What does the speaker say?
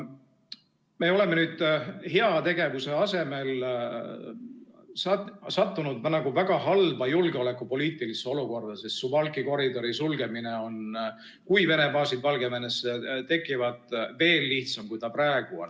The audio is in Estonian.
Me oleme nüüd heategevuse asemel sattunud väga halba julgeolekupoliitilisesse olukorda, sest Suwałki koridori sulgemine on juhul, kui Vene baasid Valgevenesse tekivad, veel lihtsam, kui ta praegu on.